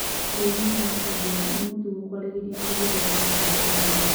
Bũrũrinĩ Wa India nĩ mũtũgo kwarĩrĩria ũhoro Wa kahinda ka mweri